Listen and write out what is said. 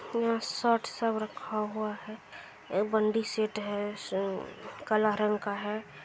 यह शर्ट सब रखा है एक बंदी सीट है काला रंग का है।